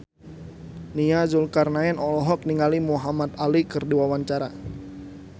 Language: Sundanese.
Nia Zulkarnaen olohok ningali Muhamad Ali keur diwawancara